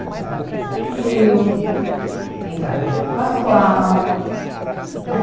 Entrava Gilberto Gil, entrava Hermeto Pascoal, né?